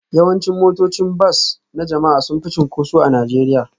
Yawancin motocin bas na jama'a sun fi cunkoso a Najeriya